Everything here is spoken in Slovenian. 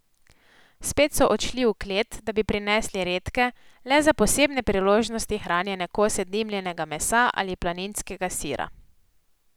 Spet so odšli v klet, da bi prinesli redke, le za posebne priložnosti hranjene kose dimljenega mesa ali planinskega sira.